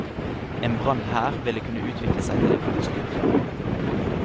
En brann her ville kunne utvikle seg til en katastrofe.